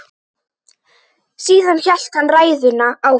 Síðan hélt hann ræðunni áfram